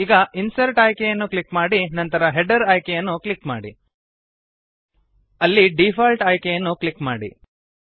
ಈಗ ಇನ್ಸರ್ಟ್ ಆಯ್ಕೆಯನ್ನು ಕ್ಲಿಕ್ ಮಾಡಿ ನಂತರ ಹೆಡರ್ ಆಯ್ಕೆಯನ್ನು ಕ್ಲಿಕ್ ಮಾಡಿ